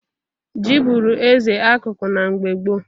Ji bụrụ eze akụkụ na mgbe gboo.